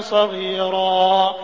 صَغِيرًا